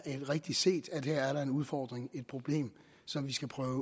rigtigt set at der her er en udfordring et problem som vi skal prøve at